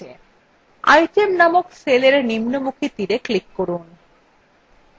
item named cellarrow নিম্নমুখী তীরarrow উপর click করুন